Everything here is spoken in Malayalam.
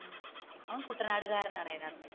അവൻ കുട്ടനാട് കാരണാണ് അതിന്റെ അകത്തു